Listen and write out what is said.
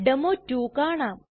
ഡെമോ2 കാണാം